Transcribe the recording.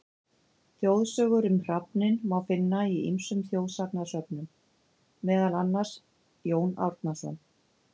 Þjóðsögur um hrafninn má finna í ýmsum þjóðsagnasöfnum, meðal annars: Jón Árnason.